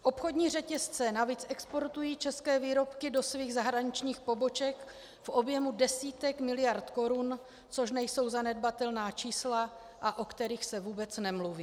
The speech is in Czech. Obchodní řetězce navíc exportují české výrobky do svých zahraničních poboček v objemu desítek miliard korun, což nejsou zanedbatelná čísla, a o kterých se vůbec nemluví.